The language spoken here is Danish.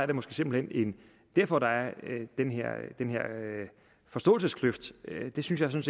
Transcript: det måske simpelt hen derfor der er den her forståelseskløft det synes jeg